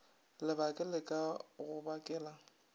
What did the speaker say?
lebake le ka go bakela